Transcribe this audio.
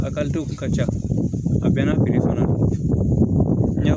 A kun ka ca a bɛɛ n'a fana don